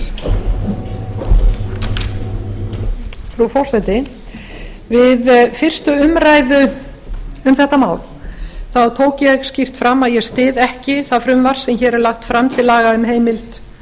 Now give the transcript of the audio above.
spólu frú forseti við fyrstu umræðu um þetta mál þá tók ég skýrt fram að ég styð ekki það frumvarp sem hér er lagt fram til laga um heimild